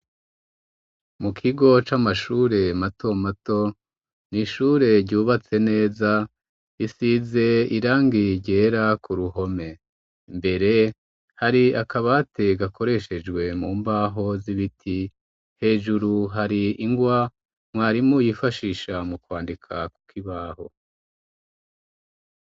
Mu kigo c'amashure mato mato ni ishure ryubatse neza isize irangi ryera ku ruhome mbere hari akabate gakoreshejwe mu mbaho z'ibiti hejuru hari ingwa mwarimu yifashisha mu kwandikakwe uko ibaho.